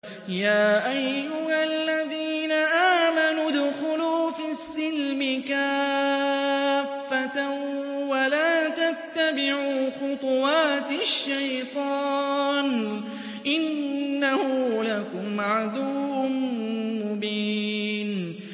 يَا أَيُّهَا الَّذِينَ آمَنُوا ادْخُلُوا فِي السِّلْمِ كَافَّةً وَلَا تَتَّبِعُوا خُطُوَاتِ الشَّيْطَانِ ۚ إِنَّهُ لَكُمْ عَدُوٌّ مُّبِينٌ